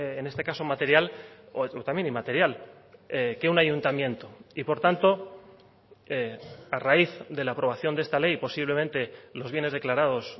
en este caso material o también inmaterial que un ayuntamiento y por tanto a raíz de la aprobación de esta ley posiblemente los bienes declarados